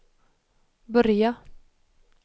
börja